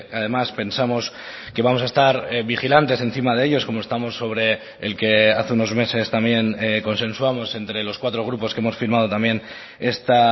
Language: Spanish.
además pensamos que vamos a estar vigilantes encima de ellos como estamos sobre el que hace unos meses también consensuamos entre los cuatro grupos que hemos firmado también esta